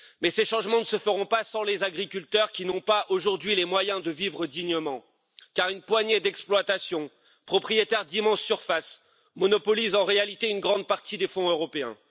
Mais ces changements ne se feront pas sans les agriculteurs qui n'ont pas aujourd'hui les moyens de vivre dignement. Car une poignée d'exploitations, propriétaires d'immenses surfaces, monopolise en réalité une grande partie des fonds européens.